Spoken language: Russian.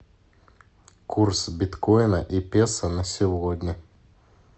курс биткоина и песо на сегодня